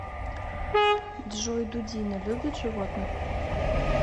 джой дудина любит животных